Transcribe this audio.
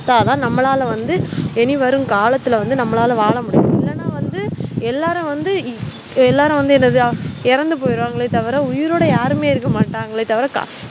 அப்பதான் நம்மளால வந்து இனி வரும் காலத்துல வந்து நம்மளால வாழமுடியும்இல்லனா வந்து எல்லாரும் வந்து எல்லாரும் வந்து என்னது இறந்து போயிருவாங்கல தவிர உயிரோடயாருமே இருக்கமாட்டங்ல தவிர